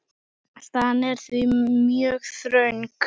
Staðan er því mjög þröng.